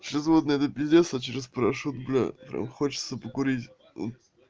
через водный это пиздец а через порошок бля прям хочется покурить вот